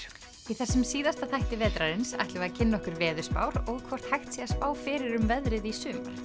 í þessum síðasta þætti vetrarins ætlum við að kynna okkur veðurspár og hvort hægt sé að spá fyrir um veðrið í sumar